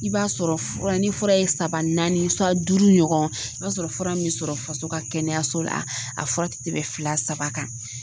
I b'a sɔrɔ fura ni fura ye saba naani duuru ɲɔgɔn i b'a sɔrɔ fura min sɔrɔ faso ka kɛnɛyaso la a fura te tɛmɛ fila saba kan.